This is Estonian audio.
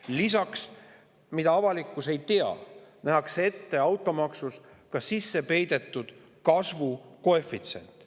Lisaks, avalikkus ei tea, et nähakse ette ka automaksu sisse peidetud kasvukoefitsient.